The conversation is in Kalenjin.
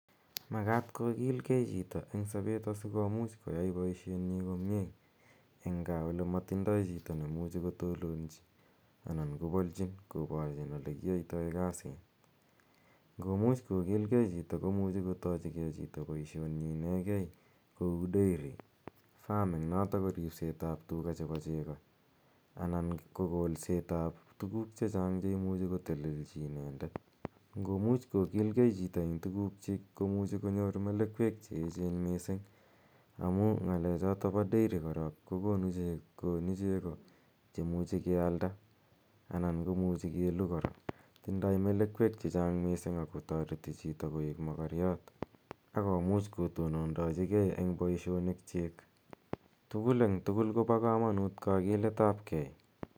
Makat kogilgei chito eng' sapet asikopit koyai poishenyi komye eng' gaa ole matindai chito ne imuchi kotononchi anan kopalchin koparchin ole kiyaitai kasit. Ngo much kogilgei chito komuchi kotachi ge poishenyi inegei kou dairy farming notok ko ripseet ap tuga chepo cheko anan ko kolset ap tugul che chang' che imuchi kotelelchi inendet. Ngo mucj kokil gei chito eng' tugukchik ko muchi kobyor melekwek che echen missing' amu ng'alechotok pa dairy korok ko konu cheko che muchi ke alda anan ko muchi ke lu kora. Tindai melekwek che chang' missing' ako tareti chito koek makaryat ak komuch kotonondachi gei eng' poishonik chik. Tugul eng' tugul ko pa kamanut kakilet ap gei.